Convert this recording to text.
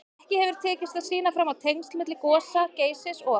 Ekki hefur tekist að sýna fram á tengsl milli gosa Geysis og